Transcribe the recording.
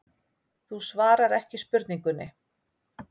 Þú svarar ekki spurningunni.